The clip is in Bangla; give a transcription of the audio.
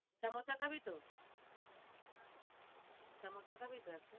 খাবি তো? খাবি তো